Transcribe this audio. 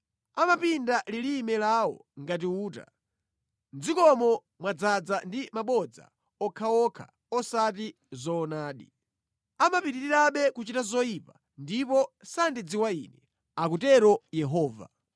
“Amapinda lilime lawo ngati uta. Mʼdzikomo mwadzaza ndi mabodza okhaokha osati zoonadi. Amapitirirabe kuchita zoyipa; ndipo sandidziwa Ine.” Akutero Yehova.